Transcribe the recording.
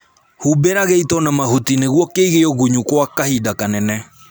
Humbĩra gĩito na mahuti nĩguo kĩige ũgunyu gwa kahinda kanene